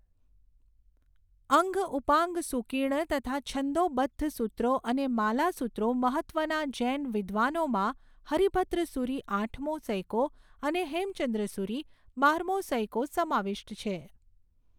અંગ ઉપાંગ સૂકીર્ણ તથા છંદોબદ્ધ સુત્રો અને માલાસુત્રો મહત્ત્વના જૈન વિદ્વનોમાં હરિભદ્રસુરી આઠમો સૈકો અને હેમચંદ્ર સુરી બારમો સૈકો સમાવિષ્ટ છે.